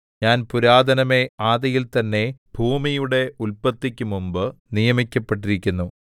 ഞാൻ പുരാതനമേ ആദിയിൽ തന്നെ ഭൂമിയുടെ ഉല്പത്തിക്ക് മുമ്പ് നിയമിക്കപ്പെട്ടിരിക്കുന്നു